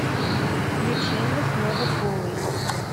включи мне снова голый